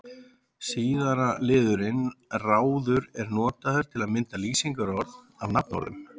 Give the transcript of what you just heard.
Síðara liðurinn-ráður er notaður til að mynda lýsingarorð af nafnorðum.